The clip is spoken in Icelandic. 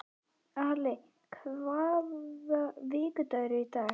Ali, hvaða vikudagur er í dag?